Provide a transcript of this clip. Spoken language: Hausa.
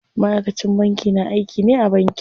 Ma'aikacin banki na aiki ne a banki.